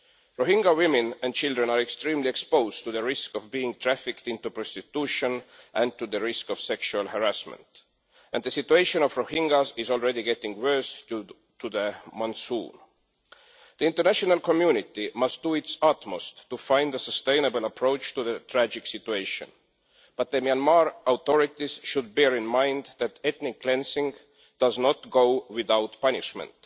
Rohingya women and children are extremely exposed to the risk of being trafficked into prostitution and to the risk of sexual harassment, and the situation of the Rohingyas is already getting worse due to the monsoon. The international community must do its utmost to find a sustainable approach to the tragic situation, but the Myanmar authorities should bear in mind that ethnic cleansing does not go without punishment.